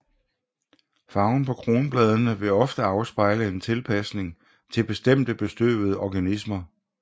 Farven på kronbladene vil ofte afspejle en tilpasning til bestemte bestøvende organismer